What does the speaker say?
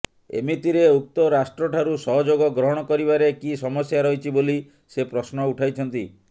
ଏମିତିରେ ଉକ୍ତ ରାଷ୍ଟ୍ରଠାରୁ ସହଯୋଗ ଗ୍ରହଣ କରିବାରେ କି ସମସ୍ୟା ରହିଛି ବୋଲି ସେ ପ୍ରଶ୍ନ ଉଠାଇଛନ୍ତି